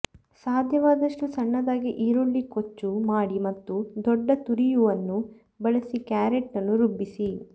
ಸಾಧ್ಯವಾದಷ್ಟು ಸಣ್ಣದಾಗಿ ಈರುಳ್ಳಿ ಕೊಚ್ಚು ಮಾಡಿ ಮತ್ತು ದೊಡ್ಡ ತುರಿಯುವನ್ನು ಬಳಸಿ ಕ್ಯಾರೆಟ್ ಅನ್ನು ರುಬ್ಬಿಸಿ